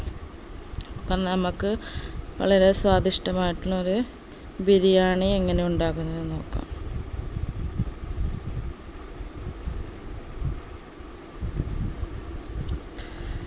അപ്പം നമ്മക്ക് വളരെ സ്വാദിഷ്ടമായിട്ടുള്ള ഒരു ബിരിയാണി എങ്ങനെ ഉണ്ടാകുന്നത് നോക്കാം